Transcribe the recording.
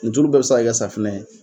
Nin tulu bɛɛ bɛ se ka kɛ safinɛ ye